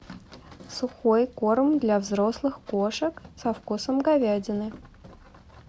сухой корм для взрослых кошек со вкусом говядины